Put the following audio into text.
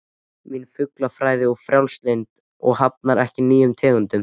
Mín fuglafræði er frjálslynd og hafnar ekki nýjum tegundum